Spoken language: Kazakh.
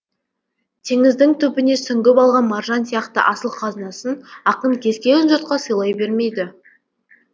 теңіздің түбіне сүңгіп алған маржан сияқты асыл қазынасын ақын кез келген жұртқа сыйлай бермейді